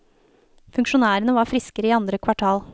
Funksjonærene var friskere i andre kvartal.